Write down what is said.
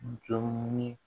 N jolen